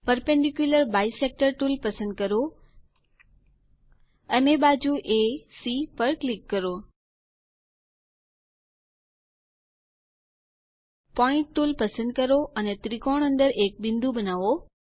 perpendicular bisector tool પસંદ કરો અને બાજુ એસી પર ક્લિક કરો પોઇન્ટ ટુલ પસંદ કરો અને ત્રિકોણ અંદર એક બિંદુ બનાવો